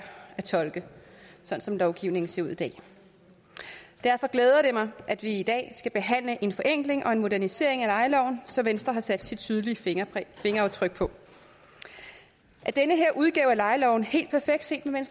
at tolke sådan som lovgivningen ser ud i dag derfor glæder det mig at vi i dag skal behandle en forenkling og en modernisering af lejeloven som venstre har sat sit tydelige fingeraftryk på er den her udgave af lejeloven helt perfekt set med